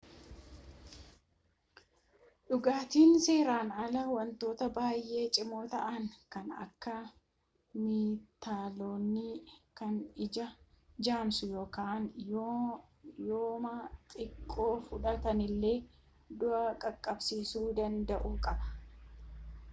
dhugaatin seeran alaa wantoota baayee cimoo ta'aan kan akka miitanoolii kan ija jaamsuu ykn yooma xiqqoo fudhatanilee du'a qaqqabsiisuu danda'u qaba